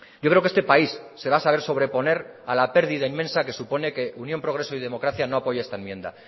yo creo que este país se va a saber sobreponer a la pérdida inmensa que supone que unión progreso y democracia no apoye esta enmienda